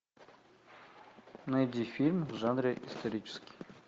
найди фильм в жанре исторический